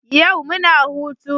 Yau muna hutu